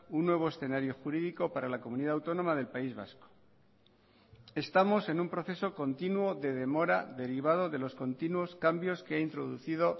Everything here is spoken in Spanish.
un nuevo escenario jurídico para la comunidad autónoma del país vasco estamos en un proceso continuo de demora derivado de los continuos cambios que ha introducido